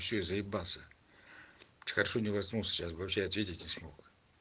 все я заебался хорошо не проснулся сейчас бы вообще ответить не смог